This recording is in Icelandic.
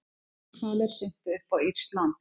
Grindhvalir syntu upp á írskt land